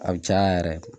A bi caya yɛrɛ de